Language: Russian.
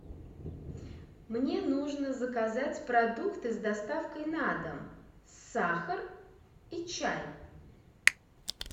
мне нужно заказать продукты с доставкой на дом сахар и чай